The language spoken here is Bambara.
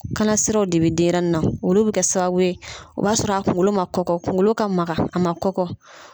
Kalasiraw de be denyɛrɛnin na . Olu be kɛ sababu ye o b'a sɔrɔ a kunkolo ma kɔkɔ, kunkolo ka makan .